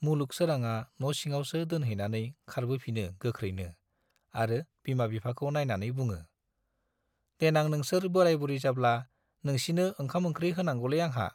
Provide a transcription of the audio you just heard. मुलुग सोराङा न'सिङावसो दोनहैनानै खारबोफिनो गोख्रैनो आरो बिमा बिफाखौ नाइनानै बुङो, देनां नोंसोर बोराइ-बुरि जाब्ला नोंसिनो ओंखाम-ओंख्रि होनांगौलै आंहा।